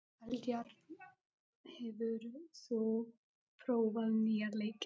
Eldjárn, hefur þú prófað nýja leikinn?